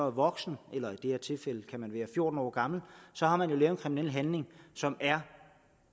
voksen eller i det her tilfælde kan man være fjorten år gammel har man lavet en kriminel handling som er